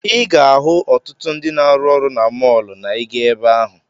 Ị ga-ahụ ọtụtụ ndị na-arụ ọrụ na mọọlụ na ị gaa ebe ahụ.